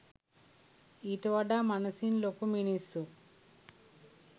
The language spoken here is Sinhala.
ඊට වඩා මනසින් ලොකු මිනිස්සු